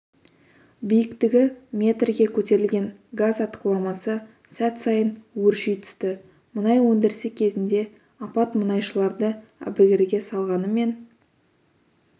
биіктігі метрге көтерілген газ атқыламасы сәт сайын өрши түсті мұнай өндірісі кезінде апат мұнайшыларды әбігерге салғанымен